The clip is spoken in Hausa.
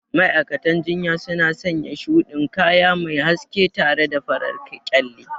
Ma'aikatan jinya suna sanya shuɗin kaya mai haske tare da farar kyalle.